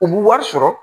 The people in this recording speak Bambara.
U bɛ wari sɔrɔ